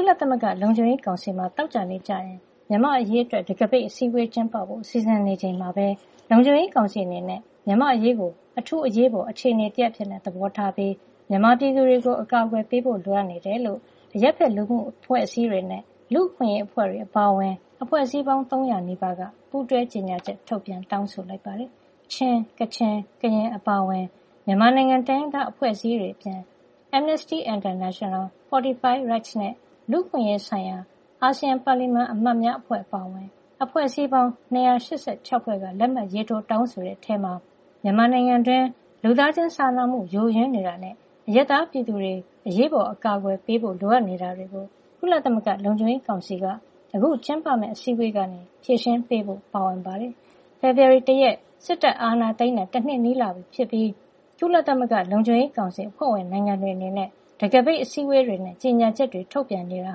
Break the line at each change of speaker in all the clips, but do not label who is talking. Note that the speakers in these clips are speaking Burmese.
ုလသမဂ္ဂလုံခြုံရေးကောင်စီမှာ သောကြာနေ့ကျရင် မြန်မာ့အရေးအတွက် တံခါးပိတ်အစည်းအဝေးကျင်းပဖို့ စီစဉ်နေချိန်မှာပဲလုံခြုံရေကောင်စီအနေနဲ့မြန်မာ့အရေးကို အထူးအရေးပေါ် အခြေနေတရပ်အဖြစ် သဘောထားပြီး မြန်မာပြည်သူတွေကို အကာကွယ်ပေးဖို့လိုအပ်နေကြောင်း အရပ်ဖက်လူမှုအဖွဲ့အစည်းတွေနဲ့ လူ့အခွင့်ရေးအဖွဲ့တွေအပါအဝင် အဖွဲ့အစည်းပေါင်း ၃၀၀ နီးပါးက ပူးတွဲကြေညာချက် ထုတ်ပြန် တောင်းဆိုလိုက်ပါတယ်။ ချင်း၊ ကချင်၊ ကရင်အပါအဝင် မြန်မာနိုင်ငံက တိုင်းရင်းသားအဖွဲ့အစည်းတွေအပြင် Amnesty International ၊ Fortify Rights နဲ့ လူ့အခွင့်ရေးဆိုင်ရာ အာဆီယံ ပါလီမန်အမတ်များအဖွဲ့ အပါအဝင် အဖွဲ့အစည်းပေါင်း ၂၈၆ ဖွဲ့က လက်မှတ်ရေးထိုး တောင်းဆိုတဲ့ အထဲမှာ မြန်မာနိုင်ငံတွင်း လူသားချင်းစာနာမှု ယိုယွင်းနေတာနဲ့ အရပ်သား ပြည်သူတွေ အရေးပေါ် အကာကွယ်ပေးဖို့ လိုအပ်နေတာတွေကို ကုလသမဂ္ဂလုံခြုံရေး ကောင်စီက အခုကျင်းပမယ့် အစည်းဝေးကနေ ဖြေရှင်းပေးဖို့ ပါဝင်ပါတယ်။ ဖေဖေါ်ဝါရီ ၁ ရက် စစ်တပ်အာဏာသိမ်းတာ တနှစ်နီးလာပြီဖြစ်ပြီး ကုလသမဂ္ဂလုံခြုံရေးကောင်စီ အဖွဲ့ဝင်နိုင်ငံတွေအနေနဲ့ တံခါးပိတ်အစည်းဝေးတွေနဲ့ ကြေညာချက်တွေ ထုတ်ပြန်နေတာ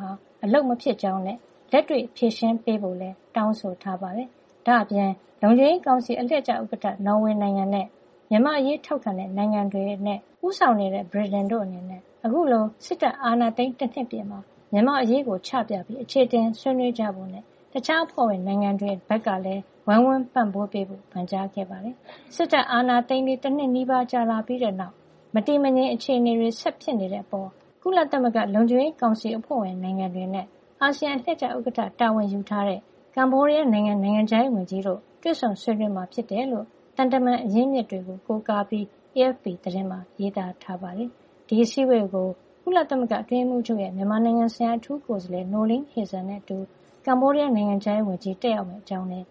ဟာ အလုပ်မဖြစ်ကြောင်းနဲ့ လက်တွေ ဖြေရှင်းပေးဖို့လည်း တောင်းဆိုထားပါတယ်။ ဒါ့အပြင် လုံခြုံရေးကောင်စီအလှည့်ကျ ဥက္ကဌ နော်ဝေနိုင်ငံနဲ့မြန်မာ့အရေး ထောက်ခံတဲ့ နိုင်ငံတွေနဲ့ဦးဆောင်တဲ့ ဗြိတိန်တို့ အနေနဲ့ အခုလို စစ်တပ်အာဏာသိမ်း တနှစ်ပြည့်မှာ မြန်မာ့အရေးကိုချပြပြီး အခြေအတင် ဆွေနွေးကြဖို့နဲ့ တခြားအဖွဲ့ဝင်နိုင်ငံတွေ ဘက်ကလည်း ဝိုင်းဝန်းပန့်ပိုးပေးဖို့ ပန်ကြားခဲ့ပါတယ်။ စစ်တပ်အာဏာသိမ်းပြီး တနှစ်နီးပါး ကြာလာပြီးတဲ့နောက် မတည်မငြိမ်အခြေအနေတွေ ဆက်ဖြစ်နေတဲ့အပေါ် ကုလသမဂ္ဂ လုံခြုံရေးကောင်စီ အဖွဲ့ဝင်နိုင်ငံတွေနဲ့ အာဆီယံ အလှည့်ကျဥက္ကဋ္ဌတာဝန်ယူထားတဲ့ ကမ္ဘောဒီးယားနိုင်ငံ နိုင်ငံခြားရေးဝန်ကြီးတို့ တွေ့ဆုံဆွေးနွေးမှာဖြစ်တယ်လို့ သံတမန် သတင်းရင်းမြစ်တွေကိုးကားပြီး AFP သတင်းမှာ ရေးထားပါတယ်။ ဒီအစည်းအဝေးကို ကုလသမဂ္ဂအတွင်းရေးမှူးချုပ်ရဲ့ မြန်မာနိုင်ငံဆိုင်ရာ အထူးကိုယ်စားလှယ် Noeleen Heyzer နဲ့အတူ ကမ္ဘောဒီးယား နိုင်ငံခြားရေးဝန်ကြီး Prak Sokhonn တက်ရောက်မယ့်အကြောင်းလည်း